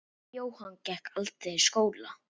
Jóhanna gekk aldrei í skóla.